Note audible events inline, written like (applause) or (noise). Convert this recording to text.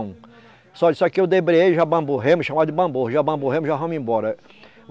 (unintelligible) Olha isso aqui eu debreiei, já bamburramos, chamava de bamburro, já bamburramos, já vamos embora.